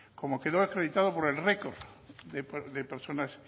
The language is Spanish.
como quedó acreditado por el récord de personas